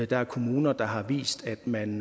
der er kommuner der har vist at man